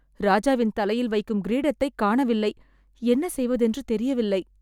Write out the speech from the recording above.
ராஜாவின் தலையில் வைக்கும் கிரீடத்தை காணவில்லை, என்ன செய்வதென்று தெரியவில்லை